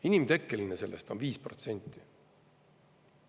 Inimtekkeline sellest on 5%.